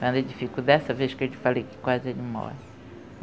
dessa vez que eu te falei que quase ele morre.